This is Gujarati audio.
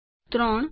૩